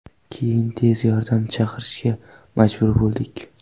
Keyin tez yordam chaqirishga majbur bo‘ldik.